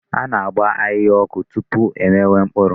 A ga-agba ahịhịa ọkụ tupu e mewe mkpuru.